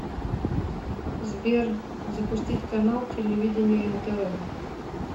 сбер запустить канал телевидения нтв